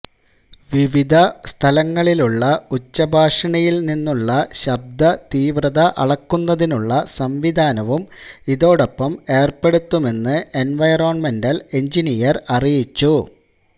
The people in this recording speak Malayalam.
വിവിധ സ്ഥാലങ്ങളിലുള്ള ഉച്ചഭാഷിണിയില് നിന്നുള്ള ശബ്ദതീവ്രത അളക്കുന്നതിനുള്ള സംവിധാനവും ഇതോടൊപ്പം ഏര്പ്പെടുത്തുമെന്ന് എന്വയോണ്മെന്റല് എഞ്ചിനീയര് അറിയിച്ചു